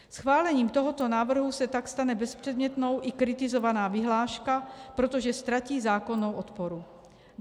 Schválením tohoto návrhu se tak stane bezpředmětnou i kritizovaná vyhláška, protože ztratí zákonnou oporu.